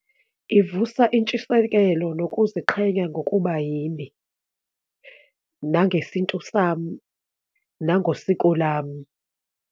Ivusa intshisekelo nokuziqhenya ngokuba yimi, nangesintu sami, nangosiko lami.